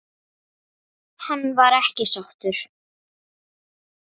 Hann var ekki sáttur.